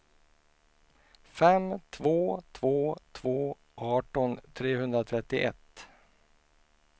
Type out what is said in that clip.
fem två två två arton trehundratrettioett